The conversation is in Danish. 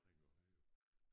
Dreng at have jo